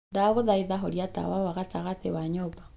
ndaguthaitha horia tawa wa gatagatĩ wa nyumba